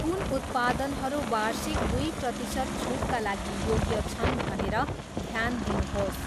कुन उत्पादनहरू वार्षिक दुई प्रतिशत छुटका लागि योग्य छन् भनेर ध्यान दिनुहोस्।